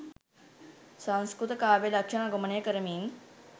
සංස්කෘත කාව්‍ය ලක්‍ෂණ අනුගමනය කරමින්